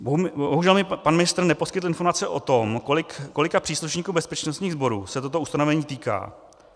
Bohužel mi pan ministr neposkytl informace o tom, kolika příslušníků bezpečnostních sborů se toto ustanovení týká.